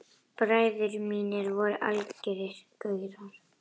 Bræður mínir voru algerir gaurar.